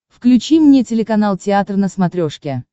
включи мне телеканал театр на смотрешке